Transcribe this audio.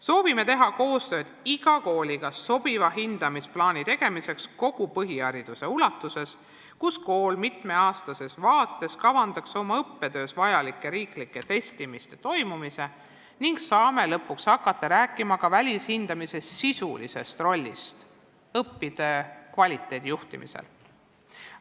Soovime teha koostööd iga kooliga sobiva hindamisplaani tegemiseks kogu põhihariduse ulatuses, mille korral kavandaks kool mitme aasta vaates õppetöös vajalike riiklike testide toimumise, nii et saaksime lõpuks hakata rääkima ka välishindamise sisulisest rollist õppetöö kvaliteedi juhtimisel.